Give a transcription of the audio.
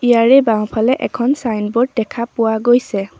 ইয়াৰে বাওঁফালে এখন চাইনব'ৰ্ড দেখা পোৱা গৈছে।